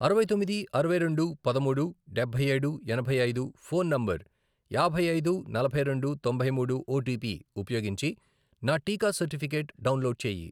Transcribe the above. అరవై తొమ్మిది, అరవై రెండు, పదమూడు, డబ్బై ఏడు, ఎనభై ఐదు, ఫోన్ నంబర్, యాభై ఐదు, నలభై రెండు, తొంభై మూడు, ఓటీపీ ఉపయోగించి నా టీకా సర్టిఫికెట్ డౌన్లోడ్ చేయి.